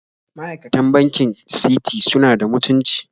Ma'aikatan bankin Citi suna da mutunci